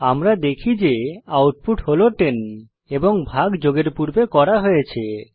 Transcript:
আমরা দেখি যে আউটপুট হল 10 এবং ভাগ যোগের পূর্বে করা হয়েছে